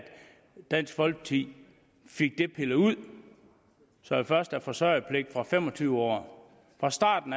dansk folkeparti fik det pillet ud så der først er forsørgerpligt fra fem og tyve år fra starten